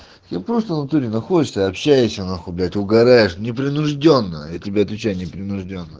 я просто в натуре находишься и общаешься нахуй блять угараешь непринуждённо я тебе отвечаю не принуждённо